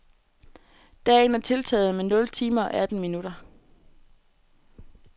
Dagen er tiltaget med nul timer og atten minutter.